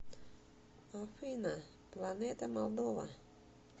афина планета молдова